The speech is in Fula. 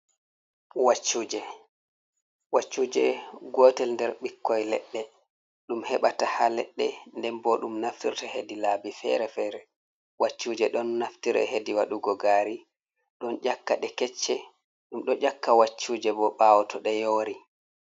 Waccuje gotel nder ɓikkoi leɗɗe ɗum heɓata ha laɗɗe nden bo ɗum naftirta hedi laabi fere-fere. Waccuje ɗon naftiri hedi waɗugo gari ɗon yakka ɗe kecce ɗum ɗo yakka waccuje bo ɓawo to ɗe yori.